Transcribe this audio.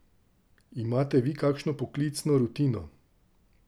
Imate vi kakšno poklicno rutino?